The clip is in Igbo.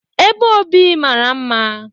Ebe obi mara mma.